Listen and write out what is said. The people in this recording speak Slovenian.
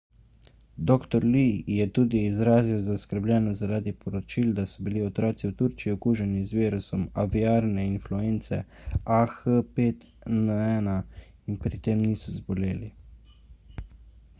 dr. lee je tudi izrazil zaskrbljenost zaradi poročil da so bili otroci v turčiji okuženi z virusom aviarne influence ah5n1 in pri tem niso zboleli